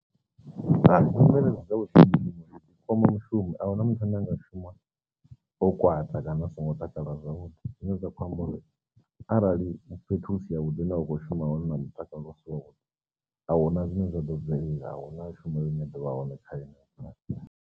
Hai, nṋe fhedzi zwa vhushumeli kwama mushumi a huna muthu ane anga shuma o kwata kana a songo takala zwavhuḓi zwine zwa khou amba uri arali fhethu hu si ya vhuḓi hune wa kho shuma hone na mutakalo u si wavhuḓi, ahuna zwine zwa ḓo bvelela ahuna shuma hune ḓovha hone kha .